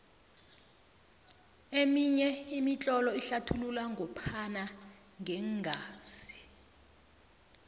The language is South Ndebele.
eminye imitlolo inlathulula ngophana ngeengazi